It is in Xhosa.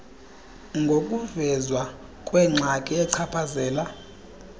ngokuvezwa kwengxaki echaphazela